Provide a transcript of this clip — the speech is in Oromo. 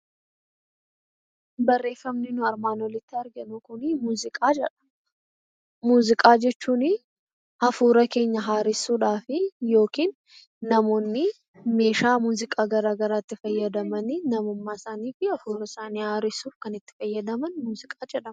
Barreeffamni nuyi armaan oliitti arginu kuni muuziqaa jedha. Muuziqaa jechuun hafuura keenya haaressuudhaa fi yookiin namoonni meeshaa muuziqaa gara garaatti fayyadamanii namummaa isaanii fi hafuura isaanii haaressuuf kan itti fayyadaman muuziqaa jedhama.